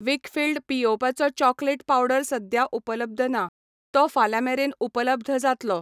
वीकफील्ड पियेवपाचो chocolate powder सद्या उपलब्ध ना, तो फाल्यां मेरेन उपलब्ध जातलो.